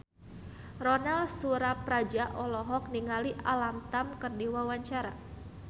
Ronal Surapradja olohok ningali Alam Tam keur diwawancara